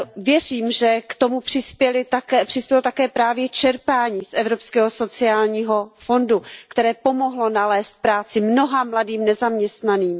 Věřím, že k tomu přispělo také právě čerpání z Evropského sociálního fondu, které pomohlo nalézt práci mnoha mladým nezaměstnaným.